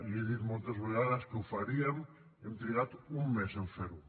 li he dit moltes vegades que ho faríem hem trigat un mes a fer ho